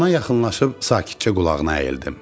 Ona yaxınlaşıb sakitcə qulağına əyildim.